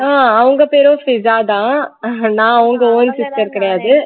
ஆஹ் அவங்க பேரும் சிஷா தான் நான் அவங்க own sister கிடையாது